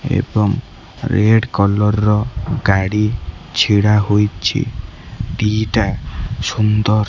ଏବଂ red colour ର ଗାଡି ଛିଡ଼ା ହୋଇଚି ଦିଟା ସୁନ୍ଦର--